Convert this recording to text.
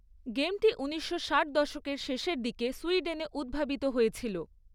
গেমটি উনিশশো ষাট দশকের শেষের দিকে সুইডেনে উদ্ভাবিত হয়েছিল।